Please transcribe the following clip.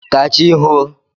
Ka chi hoo.